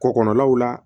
Kɔkɔgɔlaw la